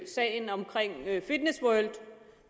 sagen om fitness world